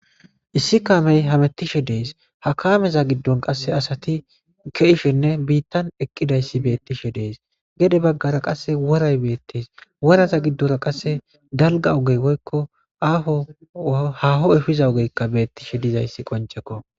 issi kaamey hamettishe dees hakameza giddon qasse asati keishenne biittan eqqidayssi bettishe dees gede baggara qasse woray beettes woraza giddora qasse dalga ogey woykko aaho haho efiza ogeykka beettishe dizayssi qoncekko